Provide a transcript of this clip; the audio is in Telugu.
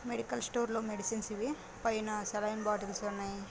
మెడికల్ స్టోర్‌ లో మెడిసిన్స్ ఇవి పైన సెలైన్ బాటిల్స్ ఉన్నాయ్ --